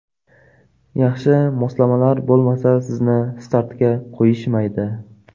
Yaxshi moslamalar bo‘lmasa, sizni startga qo‘yishmaydi.